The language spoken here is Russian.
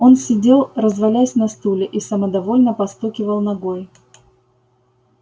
он сидел развалясь на стуле и самодовольно постукивал ногой